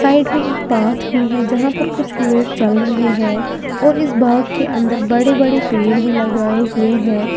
Side में एक park भी है जहां पर कुछ लोग चल रहे हैं और इस बाग के अंदर बड़े बड़े पेड़ भी लगाए हुए हैं।